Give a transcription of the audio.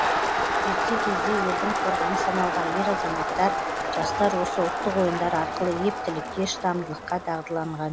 ерте кезде елдің қорғаны саналған ер азаматтар жастар осы ұлттық ойындар арқылы ептілікке шыдамдылыққа дағдыланған